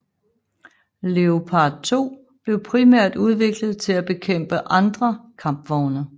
Leopard 2 blev primært udviklet til at bekæmpe andre kampvogne